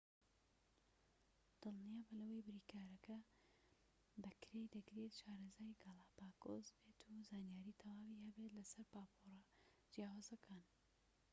دڵنیابە لەوەی بریکارەکە کە بەکرێی دەگریت شارەزای گالاپاگۆس بێت و زانیاری تەواوی هەبێت لەسەر پاپۆرە جیاوازەکان